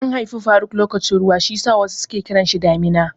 An haifi faruk lokacin ruwa shiyasa wasu ke kiranshi Damina.